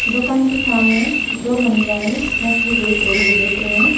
दुकान के सामने दो महिलाएं मछली देख रही हैं देख रही हूं।